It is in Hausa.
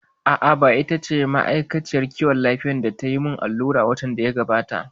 A'a, ba ita ba ce ma'aikaciyar lafiyar da tayi mun allura watan da ya gabata